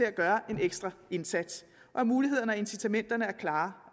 at gøre en ekstra indsats og at mulighederne og incitamenterne er klare